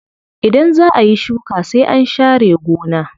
Idan zaa ayi shuka sai an sha re gona.